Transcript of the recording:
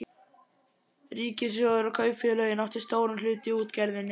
Ríkissjóður og kaupfélögin áttu stóran hlut í útgerðinni.